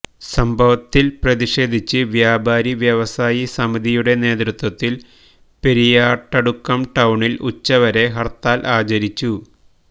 സംഭവത്തില് പ്രതിഷേധിച്ച് വ്യാപാരി വ്യവസായി സമിതിയുടെ നേതൃത്വത്തില് പെരിയാട്ടടുക്കം ടൌണില് ഉച്ചവരെ ഹര്ത്താല് ആചരിച്ചു